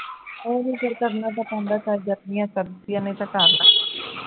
ਆਹੋ ਫਿਰ ਕਰਨਾ ਤੇ ਪੈਂਦਾ ਹੈ